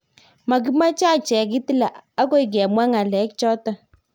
Makimache achek Hitler, akoikemwa ngalek choton